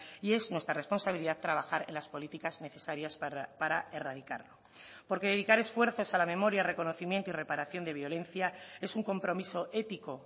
y es nuestra responsabilidad trabajar en las políticas necesarias para erradicarlo porque dedicar esfuerzos a la memoria reconocimiento y reparación de violencia es un compromiso ético